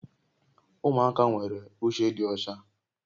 Ụmụaka nwere uche dị ọcha